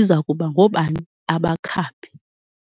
iza kuba ngoobani abakhaphi.